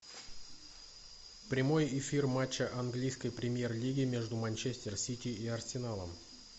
прямой эфир матча английской премьер лиги между манчестер сити и арсеналом